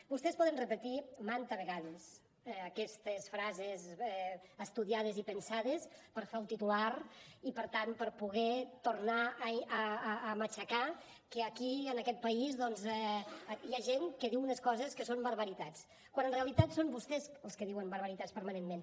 vostès poden repetir manta vegades aquestes frases estudiades i pensades per fer el titular i per tant per poder tornar a matxacar que aquí en aquest país doncs hi ha gent que diu unes coses que són barbaritats quan en realitat són vostès els que diuen barbaritats permanentment